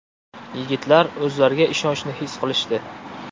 Yigitlar o‘zlariga ishonchni his qilishdi.